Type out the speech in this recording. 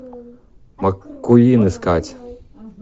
маккуин искать